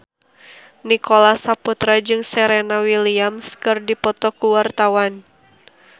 Nicholas Saputra jeung Serena Williams keur dipoto ku wartawan